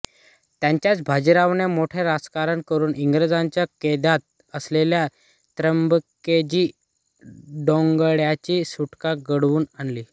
त्यातच बाजीरावाने मोठे राजकारण करून इंग्रजांच्या कैदेत असलेल्या त्र्यंबकजी डेंगळ्यांची सुटका घडवून आणली